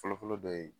Fɔlɔfɔlɔ dɔ ye